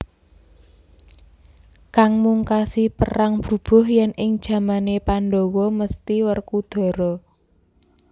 Kang mungkasi perang brubuh yen ing jamane Pandhawa mesthi Werkudara